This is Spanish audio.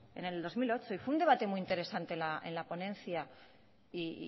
en el dos mil ocho y fue un debate muy interesante en la ponencia y